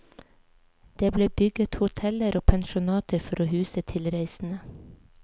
Det ble bygget hoteller og pensjonater for å huse tilreisende.